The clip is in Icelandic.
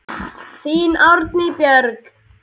Þín, Anný Björg.